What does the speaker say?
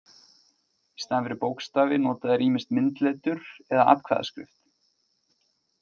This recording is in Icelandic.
Í staðinn fyrir bókstafi nota þeir ýmist myndletur eða atkvæðaskrift.